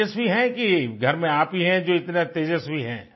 तेजस्वी हैं कि घर में आप ही हैं जो इतने तेजस्वी हैं